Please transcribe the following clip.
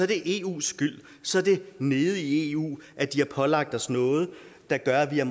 det eus skyld så er det nede i eu de har pålagt os noget der gør at vi har